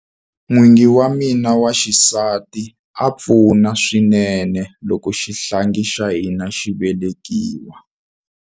N'wingi wa mina wa xisati a pfuna swinene loko xihlangi xa hina xi velekiwa.